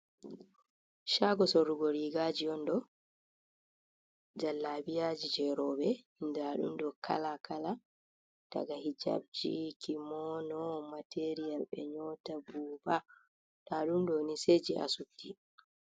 Shago sorrugo rigaaji on ɗo. Jallabiyaji jei rowɓe, nda ɗum ɗo kala-kala daga hijabji, kimono, material ɓe nyoota buba. Nda ɗum ɗo ni se jei asupti.